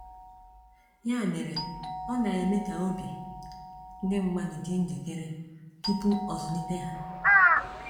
Ya mere, ọ na-eme ka obi ndị mmadụ dị njikere tupu ọzụlite ha.